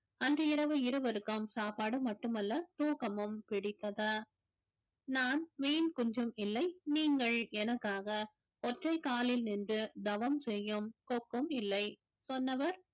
அன்று இரவு இருவருக்கும் சாப்பாடு மட்டுமல்ல தூக்கமும் நான் மீன் குஞ்சும் இல்லை நீங்கள் எனக்காக ஒற்றை காலில் நின்று தவம் செய்யும் கொக்கும் இல்லை சொன்னவர்